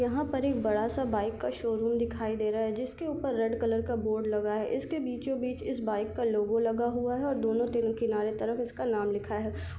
यहाँ पर एक बड़ा-सा बाइक का शोरूम दिखाई दे रहा है जिसके ऊपर रेड कलर का बोर्ड लगा है इसके बीचो बीच इस बाइक का लोगो लगा हुआ है और दोनों तीर किनारो तरफ इसका नाम लिखा है।